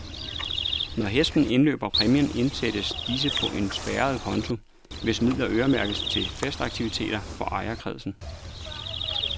Når hesten indløber præmier indsættes disse på en spærret konto, hvis midler øremærkes til festaktiviteter for ejerkredsen.